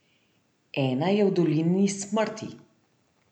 Ena je v Dolini smrti.